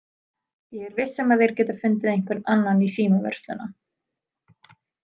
Ég er viss um að þeir geta fundið einhvern annan í símavörsluna.